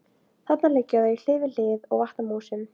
Þarna liggja þau hlið við hlið og vatna músum.